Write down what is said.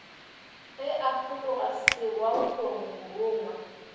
ge a fologa serwaolong morongwa